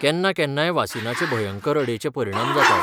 केन्ना केन्नाय वासिनाचें भयंकर अडेचे परिणाम जातात.